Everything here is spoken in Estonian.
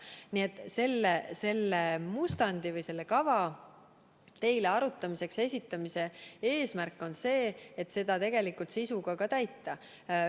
Nii et selle mustandi või kava teile arutamiseks esitamise eesmärk on see, et seda ka tegeliku sisuga täita.